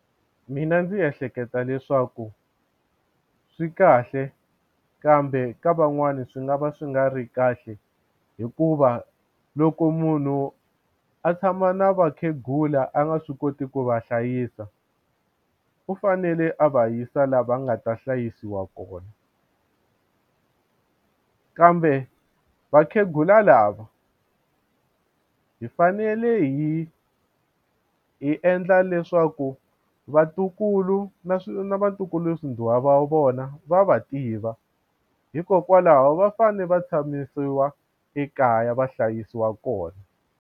Mina ndzi ehleketa leswaku swi kahle kambe ka van'wana swi nga va swi nga ri kahle hikuva loko munhu a tshama na vakhegula a nga swi koti ku va hlayisa u fanele a va yisa la va nga ta hlayisiwa kona kambe vakhegula lava hi fanele hi hi endla leswaku vatukulu na na vatukulu swi va vona va va tiva hikokwalaho va fane va tshamisiwa ekaya va hlayisiwa kona.